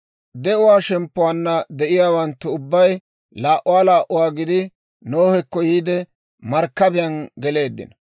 de'uwaa shemppuwaanna de'iyaawanttu ubbay laa"uwaa laa"uwaa gidi, Nohekko yiide markkabiyaan geleeddino;